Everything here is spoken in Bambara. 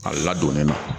A ladonnen non